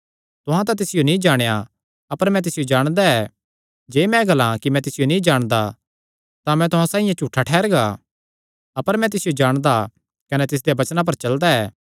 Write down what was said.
तुहां तां तिसियो नीं जाणेया अपर मैं तिसियो जाणदा ऐ जे मैं ग्लां कि मैं तिसियो नीं जाणदा तां मैं तुहां साइआं झूठा ठैहरगा अपर मैं तिसियो जाणदा कने तिसदेयां वचनां पर चलदा ऐ